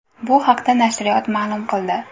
Bu haqda nashriyot ma’lum qildi .